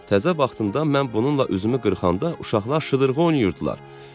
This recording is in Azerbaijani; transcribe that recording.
Təzə vaxtında mən bununla üzümü qırxanda uşaqlar şıdırğı oynuyurdular.